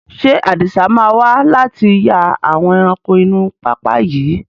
Ṣé Adisa máa wà láti yà àwọn ẹranko inú pápá yìí?